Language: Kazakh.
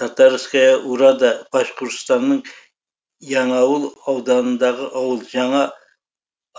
татарская урада башқұртстанның яңауыл ауданындағы ауыл жаңа